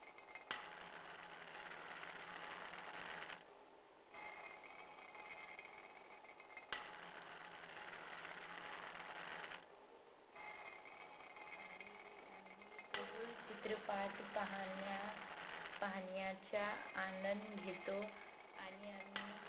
मी सर्व चित्रपाट पाहण्या पाहण्याच्या आनंद घेतो आणि आम्ही